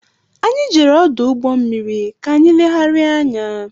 Anyị jere ọdụ ụgbọ mmiri ka anyị legharia anya.